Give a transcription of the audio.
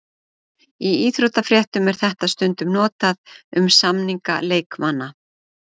Í íþróttafréttum er þetta stundum notað um samninga leikmanna.